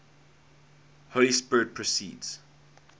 holy spirit proceeds